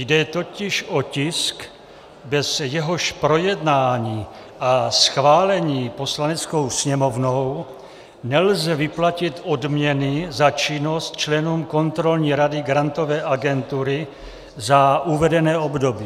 Jde totiž o tisk, bez jehož projednání a schválení Poslaneckou sněmovnou nelze vyplatit odměny na činnost členům Kontrolní rady Grantové agentury za uvedené období.